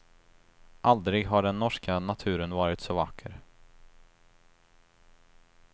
Aldrig har den norska naturen varit så vacker.